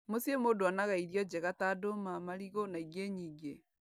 Mũciĩ mũndũ onaga irio njega ta ndũma marigũ na ingi nyingĩ